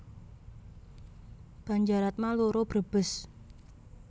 Banjaratma loro Brebes